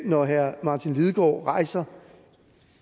når herre martin lidegaard rejser